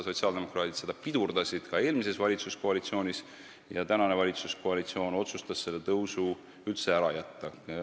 Sotsiaaldemokraadid pidurdasid seda ka eelmises valitsuskoalitsioonis ja praegune valitsus otsustas selle tõusu üldse ära jätta.